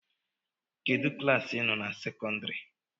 Kedụ klaasị ị nọ na sekọndịrị?